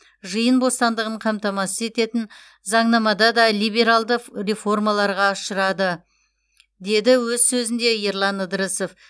жиын бостандығын қамтамасыз ететін заңнамада да либералды ф реформаларға ұшырады деді өз сөзінде ерлан ыдырысов